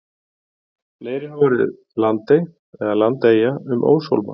Fleiri hafa orðið landey eða landeyja um óshólma.